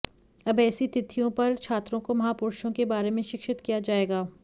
अब एेसी तिथियों पर छात्रों को महापुरुषों के बारे में शिक्षित किया जाएगा